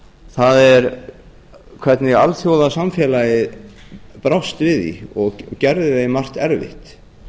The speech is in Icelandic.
herforingjastjórnir er hvernig alþjóðasamfélagið brást við því og gerði því um margt erfitt